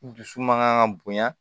Dusu mankan ka bonya